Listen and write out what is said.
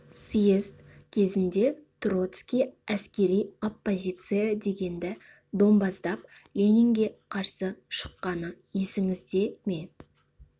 съезд кезінде троцкий әскери оппозиция дегенді домбаздап ленинге қарсы шыққаны есіңізде ме